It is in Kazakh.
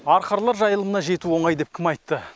арқарлар жайылымына жету оңай деп кім айтты